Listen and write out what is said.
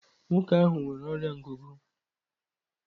Nwoke ahụ nwere ọrịa ngụgụ.